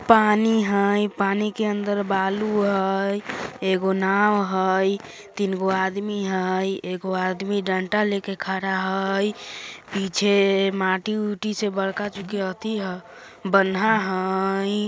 पानी हय पानी के अंदर बालू हय एगो नाव हय तीन गो आदमी हय एगो आदमी डंडा लेकर खड़ा हय पीछे माटी उटी से बड़का चुकी अथी हय बंधा हय।